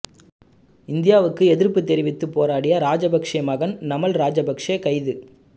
இந்தியாவுக்கு எதிர்ப்பு தெரிவித்து போராடிய ராஜபக்சே மகன் நமல் ராஜபக்சே கைது